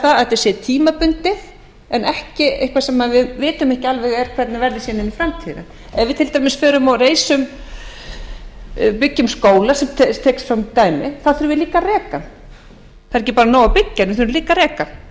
að þetta sé tímabundið en ekki eitthvað sem við vitum ekki alveg hvernig verður inn í framtíðina ef við til dæmis förum og byggjum skóla svo ég taki sem dæmi þá þurfum við líka að reka